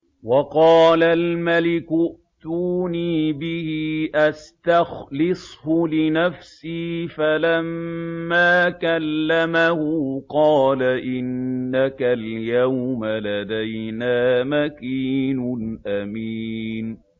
وَقَالَ الْمَلِكُ ائْتُونِي بِهِ أَسْتَخْلِصْهُ لِنَفْسِي ۖ فَلَمَّا كَلَّمَهُ قَالَ إِنَّكَ الْيَوْمَ لَدَيْنَا مَكِينٌ أَمِينٌ